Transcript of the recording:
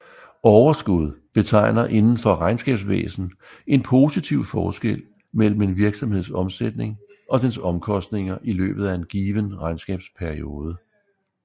Overskud betegner indenfor regnskabsvæsen en positiv forskel mellem en virksomheds omsætning og dens omkostninger i løbet af en given regnskabsperiode